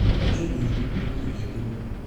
niĩ nĩnjũĩ!niĩ nĩnjũĩ!